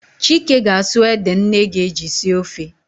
Chike ga-asụ ede nne ga-eji sie ofe